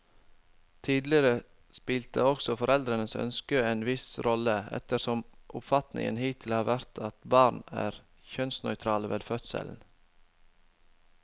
Tidligere spilte også foreldrenes ønske en viss rolle, ettersom oppfatningen hittil har vært at barn er kjønnsnøytrale ved fødselen.